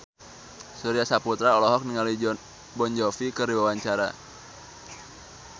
Surya Saputra olohok ningali Jon Bon Jovi keur diwawancara